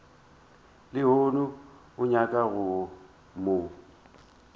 lehono o nyaka go mo